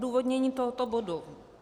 Odůvodnění tohoto bodu.